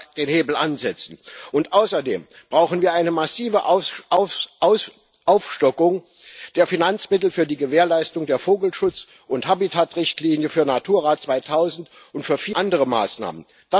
Es ist Zeit, dass wir da den Hebel ansetzen. Außerdem brauchen wir eine massive Aufstockung der Finanzmittel für die Gewährleistung der Vogelschutz und Habitatrichtlinie, für Natura 2000 und für viele andere Maßnahmen.